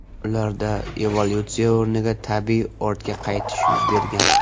Ularda evolyutsiya o‘rniga tabiiy ortga qaytish yuz bergan.